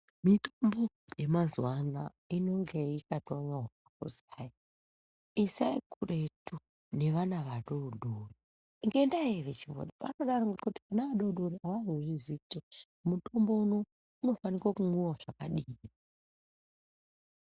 Mitombo yamazuva ano inonga yakatonyorwa kuzi hai, isai kuretu nevana vadodori ngenda yei vanodaro nekuti vana vadodori avazozvizivi kuti mutombo unofanire kumwiwa zvakadii .